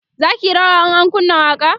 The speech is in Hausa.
zaki yi rawa in an kunna waƙa